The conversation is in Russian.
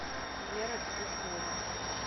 вера петухова